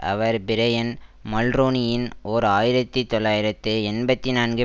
அவர் Brian மல்ரோனியின் ஓர் ஆயிரத்தி தொள்ளாயிரத்து எண்பத்தி நான்கு